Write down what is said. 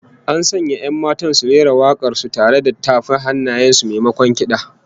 An sanya 'yan matan su rera wak'ar su tare da tafa hannaye, maimakon kid'a